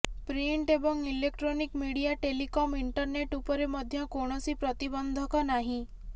print ଏବଂ electronic media telecom internet ଉପରେ ମଧ୍ୟ କୌଣସି ପ୍ରତିବନ୍ଧକ ନାହିଁ